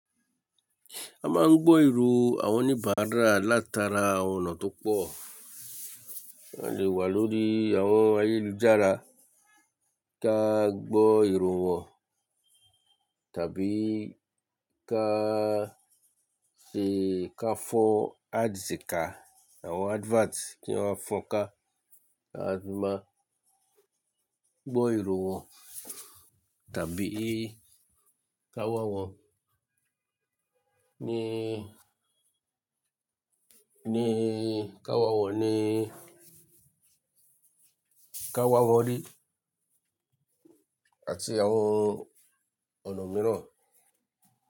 A máa ń gbọ́ ìró àwọn oníbàárà látara ọ̀nà tó pọ̀. A lè wà lórí àwọn ayélujára kí a gbọ́ ìró wọn tàbí ká ṣe ká fọ́ ads sí tá, àwọn adverts tí wọ́n á fọ́ ká, ká máa gbọ́ ìró wọn tàbí ká wá wọn ní, ní, ká wá wọn ní, ká wá wọn rí àti àwọn ọ̀nà mìíràn.